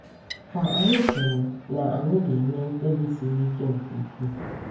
Kà anyị chere na anyị ga-eme mkpebi siri ike nke ukwuu.